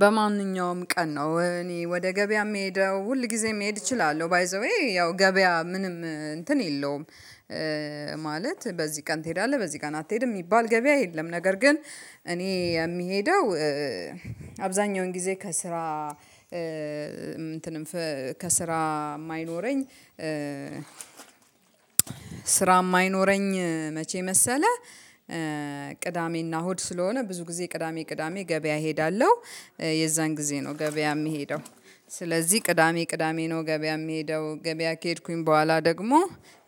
በማንኛውም ቀን ነው እኔ ወደ ገበያ የምሄደው ሁል ጊዜም መሄድ እችላለሁ ባይ ዘ ዌይ ያው ገበያ ምንም እንትን የለውም። ማለት በዚህ ቀን ትሄዳለህ በዚህ ቀን አትሄድም የሚባል ገበያ የለም ነገር ግን እኔ የሚሄደው አብዛኛውን ጊዜ ከስራ እንትንም ከስራ የማይኖረኝ ስራ የማይኖረኝ መቼ መሰለ ቅዳሜና እሁድ ስለሆነ ብዙ ጊዜ ቅዳሜ ቅዳሜ ገበያ እሄዳለሁ። የዛን ጊዜ ነው ገበያ የምሄደው። ስለዚህ ቅዳሜ ቅዳሜ ነው ገበያ የምሄደው ገበያ ከሄድኩኝ በኋላ ደግሞ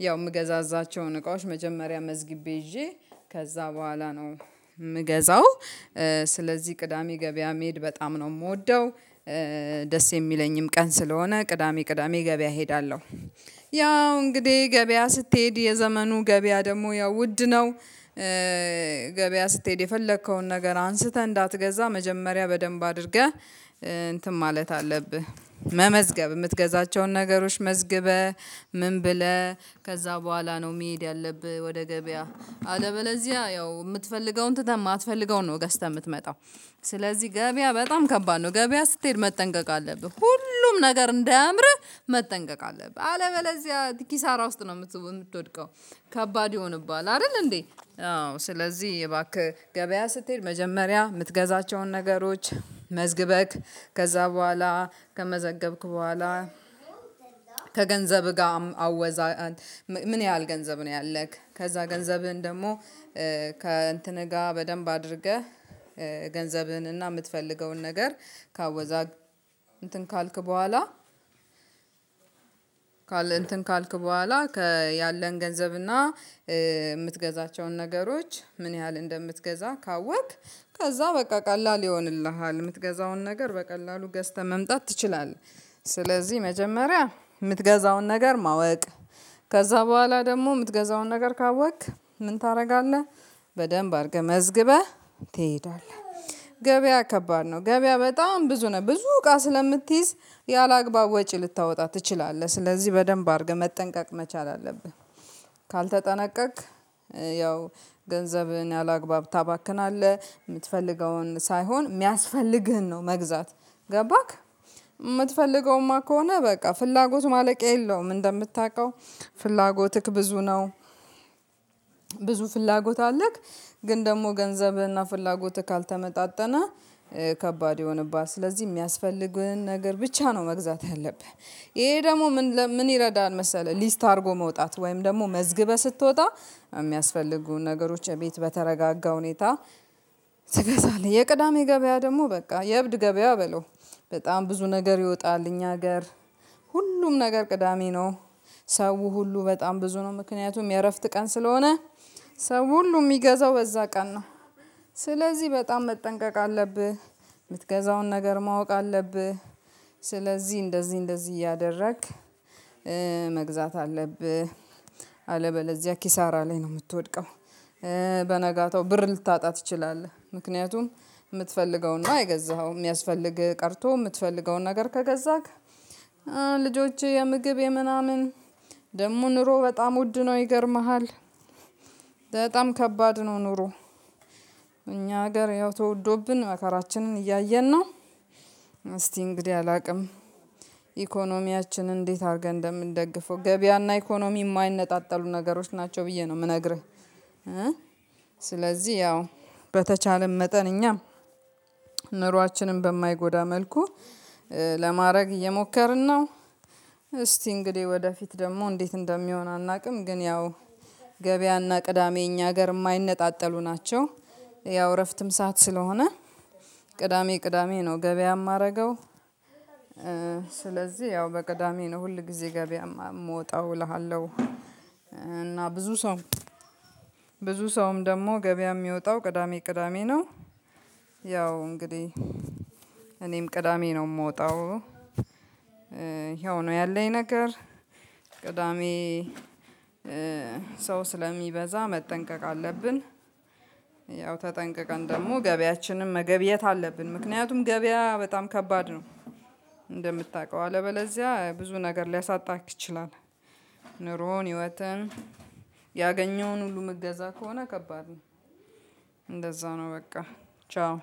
ያው እምገዛዛቸውን እቃዎች መጀመሪያ መዝግቤ ይዤ ከዛ በኋላ ነው የምገዛው። ስለዚህ ቅዳሜ ገበያ መሄድ በጣም ነው የምወደው። ደስ የሚለኝም ቀን ስለሆነ ቅዳሜ ቅዳሜ ገበያ እሄዳለሁ። ያው እንግዲህ ገበያ ስትሄድ የዘመኑ ገበያ ደግሞ ያው ውድ ነው። ገበያ ስትሄድ የፈለከውን ነገር አንስተህ እንዳትገዛ መጀመሪያ በደንብ አድርገህ እንትን ማለት አለብህ መመዝገብ የምትገዛቸውን ነገሮች መዝግበህ ምን ብለህ ከዛ በኋላ ነው መሄድ ያለብህ ወደ ገበያ አለበለዚያ ያው የምትፈልገውን ትተህ የማትፈልገውን ነው ገዝተህ የምትመጣው። ስለዚህ ገበያ በጣም ከባድ ነው ገበያ ስትሄድ መጠንቀቅ አለብህ ሁሉም ነገር እንዳያምርህ መጠንቀቅ አለብህ አለመለዚያ ኪሳራ ውስጥ ነው የምትወድቀው። ከባድ ይሆንብሃል አይደል እንዴ? አዎ ስለዚህ እባክህ ገበያ ስትሄድ መጀመሪያ የምትገዛቸውን ነገሮች መዝግበክ ከዛ በኋላ ከመዘገብክ በኋላ ከገንዘብህ ጋር አወዛህ ምን ያህል ገንዘብ ነው ያለህ ከዛ ገንዘብህን ደግሞ ከእንትንህ ጋር በደንብ አድርገህ ገንዘብህን እና የምትፈልገውን ነገር ከአወዛ እንትን ካልክ ባሃላ በኋላ እንትን ካልክ በኋላ ከያለን ገንዘብና የምትገዛቸውን ነገሮች ምን ያህል እንደምትገዛ ካወቅክ ከዛ በቃ ቀላል ይሆንልሃል የምትገዛውን ነገር በቀላሉ ገዝተህ መምጣት ትችላለህ። ስለዚህ መጀመሪያ የምትገዛውን ነገር ማወቅ ከዛ በኋላ ደግሞ የምትገዛውን ነገር ካወቅክ ምን ታደርጋለህ? በደንብ አድርገህ መዝግበህ ትሄዳለህ ገበያ ከባድ ነው ገበያ በጣም ብዙ ነው ብዙ እቃ ስለምትይዝ ያላግባብ ወጪ ልታወጣ ትችላለህ ስለዚህ በደንብ አድርገህ መጠንቀቅ መቻል አለብህ። ካልተጠናቀቅክ ያው ገንዘብህን ያላግባብ ታባክናለህ የምትፈልገውን ሳይሆን የሚያስፈልግህን ነው መግዛት። ገባክ የምትፈልገውማ ከሆነ በቃ ፍላጎት ማለቂያ የለውም እንደምታውቀው። ፍላጎትክ ብዙ ነው። ብዙ ፍላጎት አለክ ግን ደግሞ ገንዘብህና ፍላጎትህ ካልተመጣጠነ ከባድ ይሆንብሃል ስለዚህ የሚያስፈልግህን ነገር ብቻ ነው መግዛት ያለብህ። ይሄ ደግሞ ምን ይረዳል መሰለህ ሊስት አድርጎ መውጣት ወይም ደግሞ መዝግበህ ስትወጣ የሚያስፈልጉ ነገሮች እቤት በተረጋጋ ሁኔታ። ትገዛለህ የቅዳሜ ገበያ ደግሞ በቃ የእብድ ገበያ በለው በጣም ብዙ ነገር ይወጣል እኛ ሀገር ሁሉም ነገር ቅዳሜ ነው። ሰው ሁሉ በጣም ብዙ ነው ምክንያቱም የእረፍት ቀን ስለሆነ ሰው ሁሉ የሚገዛው በዛ ቀን ነው። ስለዚህ በጣም መጠንቀቅ አለብህ የምትገዛውን ነገር ማወቅ አለብህ። ስለዚህ እንደዚህ እንደዚህ እያደረክ መግዛት አለብህ አለበለዚያ ኪሳራ ላይ ነው የምትወድቀው። በነጋታው ብር ልታጣ ትችላለህ ምክንያቱም። የምትፈልገውና የገዛኸውም የሚያስፈልግህ ቀርቶ የምትፈልገውን ነገር ከገዛክ ልጆችህ የምግብ የምናምን ደግሞ ኑሮ በጣም ውድ ነው ይገርምሃል። በጣም ከባድ ነው ኑሮ። እኛ ሀገር ያው ተወዶብን መከራችንን እያየን ነው። እስቲ እንግዲህ አላውቅም። ኢኮኖሚያችን እንዴት አድርገህ እንደምን ደግፈው ገበያና ኢኮኖሚ የማይነጣጠሉ ነገሮች ናቸው ብዬ ነው የምነግርህ። ስለዚህ ያው በተቻለም መጠን እኛም ኖሯችንን በማይጎዳ መልኩ ለማድረግ እየሞከርን ነው። እስቲ እንግዲህ ወደፊት ደግሞ እንዴት እንደሚሆን አናውቅም? ግን ያው ገበያና ቅዳሜ እኛ ሀገር የማይነጣጠሉ ናቸው። ያው እረፍትም ሰዓት ስለሆነ ቅዳሜ ቅዳሜ ነው ገበያ የማደርገው። ስለዚህ ያው በቅዳሜ ነው ሁል ጊዜ ገበያ የምወጣው እልሃለሁ። እና ብዙ ሰው ብዙ ሰውም ደግሞ ገበያ የሚወጣው ቅዳሜ ቅዳሜ ነው። ያው እንግዲህ እኔም ቅዳሜ ነው የምወጣው። ይሀው ነው ያለኝ ነገር ቅዳሜ ሰው ስለሚበዛ መጠንቀቅ አለብን። ያው ተጠንቅቀን ደግሞ ገበያችንን መገብ የት አለብን ምክንያቱም ገበያ በጣም ከባድ ነው እንደምታውቀው አለበለዚያ ብዙ ነገር ሊያሳጣህ ይችላል። ኑሮን ህይወትህን ያገኘውን ሁሉ ምትገዛ ከሆነ ከባድ ነው። እንደዛው ነው በቃ። ቻው።